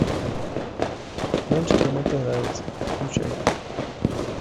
мальчикам это нравится включай